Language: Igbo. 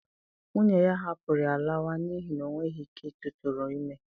Nwunye ya hapụrụ ya laawa n'ihi na o nweghi ike ịtụrụ ime